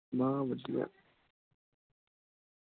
ਬਸ ਵਧੀਆ ।